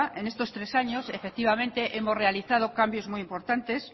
en estos tres años efectivamente hemos realizado cambios muy importantes